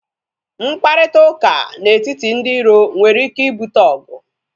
Mkparịta ụka na etiti ndị iro nwere ike ibute ọgụ